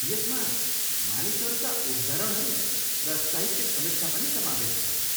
यसमा मानिसहरूका उद्धरणहरू र साहित्य समीक्षा पनि समावेश छ।